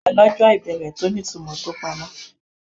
Àlọ́ jẹ́ ìbéèrè tó ní ìtumọ̀ tó pamọ́.